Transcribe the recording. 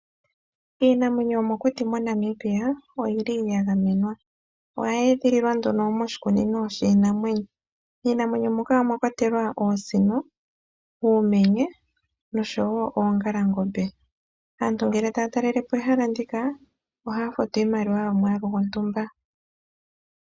Iinamwenyo yomokuti moNamibia, oya gamenwa. Oye edhililwa moshikunino shiinamwenyo. Miinamwenyo mbika omwa kwatelwa oosino, uumenye nosho wo oongalangombe. Aantu ngele taya talele po ehala ndika ohaya futu iimaliwa yomwaalu gontumba.